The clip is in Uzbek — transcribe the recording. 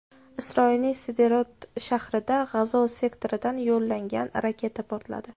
Isroilning Sderot shahrida G‘azo sektoridan yo‘llangan raketa portladi.